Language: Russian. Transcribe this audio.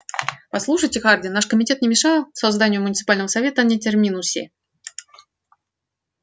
послушайте хардин наш комитет не мешал созданию муниципального совета на терминусе